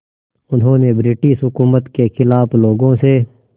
उन्होंने ब्रिटिश हुकूमत के ख़िलाफ़ लोगों से